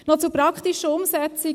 Noch zur praktischen Umsetzung: